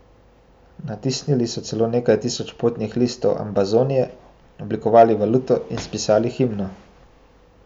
Natisnili so celo nekaj tisoč potnih listov Ambazonije, oblikovali valuto in spisali himno.